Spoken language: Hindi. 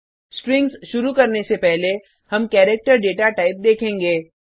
स्ट्रिंग्स शुरु करने से पहले हम पहले करैक्टर डेटाटाइप देखेंगे